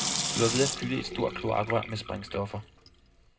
De var ved at fylde et stort kloakrør med sprængstoffer.